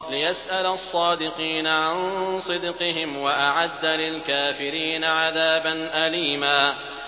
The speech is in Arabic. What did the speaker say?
لِّيَسْأَلَ الصَّادِقِينَ عَن صِدْقِهِمْ ۚ وَأَعَدَّ لِلْكَافِرِينَ عَذَابًا أَلِيمًا